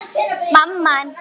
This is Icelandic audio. Hvernig getur staðið á þessu.